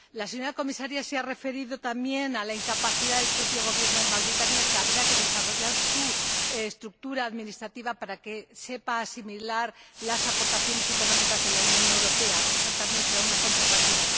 La señora Comisaria se ha referido también a la incapacidad del propio Gobierno de Mauritania, que deberá desarrollar su estructura administrativa para poder asimilar las aportaciones económicas de la Unión Europea esa también será una contrapartida.